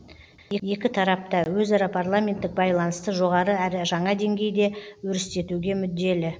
екі тарап та өзара парламенттік байланысты жоғары әрі жаңа деңгейде өрістетуге мүдделі